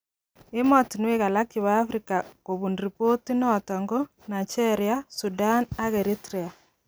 Emotunwek alaak chebo Afrika kubun ripoti noto ko Nigeria, Sudan ak Eritrea.